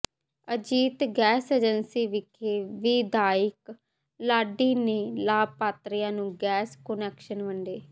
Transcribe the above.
Ajit gas agency ਵਿਖੇ ਵਿਧਾਇਕ ਲਾਡੀ ਨੇ ਲਾਭਪਾਤਰੀਆਂ ਨੂੰ ਗੈਸ ਕੁਨੈਕਸ਼ਨ ਵੰਡੇ